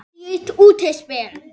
Dýrt útspil.